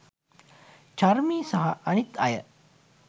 චාර්මි සහ අනිත් අය